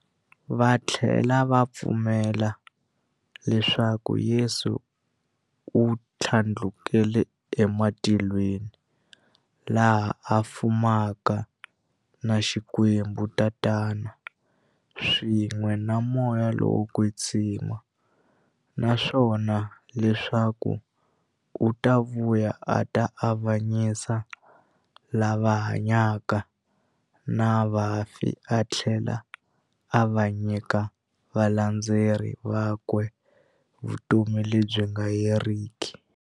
Vathlela va pfumela leswaku Yesu u thlandlukele ematilweni, laha a fumaka na Xikwembu-Tatana, swin'we na Moya lowo kwetsima, naswona leswaku u ta vuya a ta avanyisa lava hanyaka na vafi athlela a nyika valandzeri vakwe vutomi lebyi nga heriki.